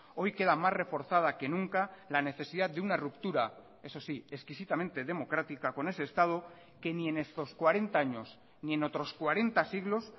hoy queda más reforzada que nunca la necesidad de una ruptura eso sí exquisitamente democrática con ese estado que ni en estos cuarenta años ni en otros cuarenta siglos